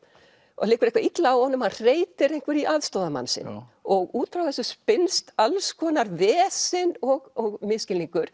og það liggur eitthvað illa á honum og hann hreytir einhverju í aðstoðarmann sinn og út frá þessu spinnst alls konar vesen og misskilningur